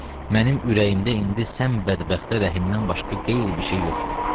Mənim ürəyimdə indi sən bədbəxtə rəhimdən başqa qeyri bir şey yoxdur.